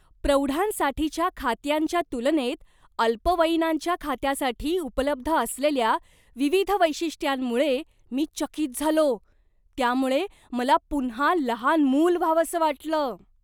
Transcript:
प्रौढांसाठीच्या खात्यांच्या तुलनेत अल्पवयीनांच्या खात्यासाठी उपलब्ध असलेल्या विविध वैशिष्ट्यांमुळे मी चकित झालो. त्यामुळे मला पुन्हा लहान मूल व्हावंसं वाटलं.